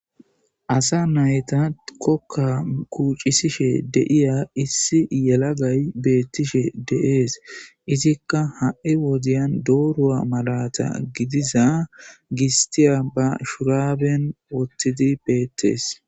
Asa naytta kooka kuccishe diiza issi na'ay bettishe dess izzika gistte mallata ba bolla woththidi dess.